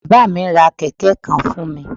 Bàbá à mí ra Kẹ̀kẹ́ kan fún mi